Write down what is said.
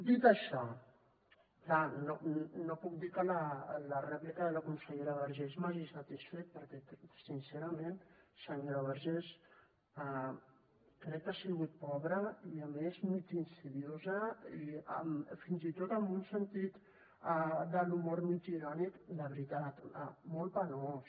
dit això clar no puc dir que la rèplica de la consellera vergés m’hagi satisfet perquè sincerament senyora vergés crec que ha sigut pobra i a més mig insidiosa i fins i tot amb un sentit de l’humor mig irònic de veritat molt penós